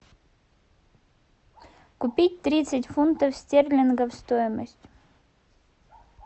купить тридцать фунтов стерлингов стоимость